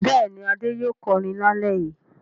Bẹ́ẹ̀ni, Adé yóò kọrin lálẹ́ yìí.